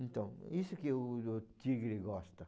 Então, isso que o o o tigre gosta.